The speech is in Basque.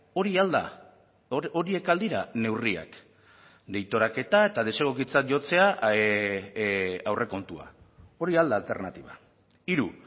hori al da horiek al dira neurriak deiturak eta desegokitzat jotzea aurrekontua hori al da alternatiba hiru